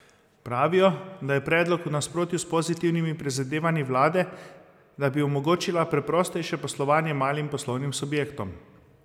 Pravijo, da je predlog v nasprotju s pozitivnimi prizadevanji vlade, da bi omogočila preprostejše poslovanje malim poslovnim subjektom.